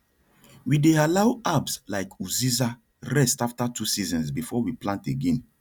we dey allow herbs like uziza rest after two seasons before we plant again